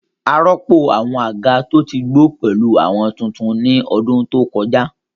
A rọ́pò àwọn àga tó ti gbó pẹ̀lú àwọn tutun ní ọdún tó kọjá